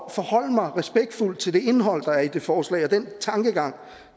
at forholde mig respektfuldt til det indhold der er i det forslag og den tankegang